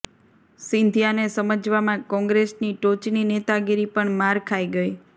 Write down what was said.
સિંધિયાને સમજવામાં કોંગ્રેસની ટોચની નેતાગીરી પણ માર ખાઈ ગઈ